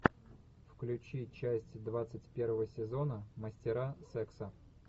включи часть двадцать первого сезона мастера секса